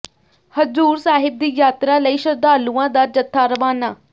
ਹਜ਼ੂਰ ਸਾਹਿਬ ਦੀ ਯਾਤਰਾ ਲਈ ਸ਼ਰਧਾਲੂਆਂ ਦਾ ਜਥਾ ਰਵਾਨਾ